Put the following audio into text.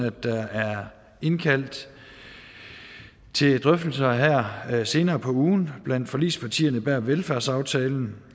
at der er indkaldt til drøftelser her senere på ugen blandt forligspartierne bag velfærdsaftalen